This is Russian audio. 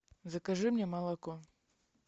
закажи мне молоко